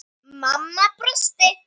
Mamma brosti.